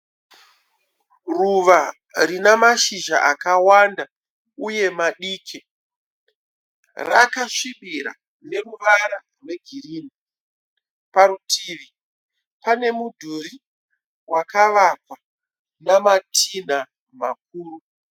Ruva rina mashizha akawanda uye madiki rakasvibira neruvara rwegirini. Parutivi pane mudhuri wakavakwa nematinha makuru.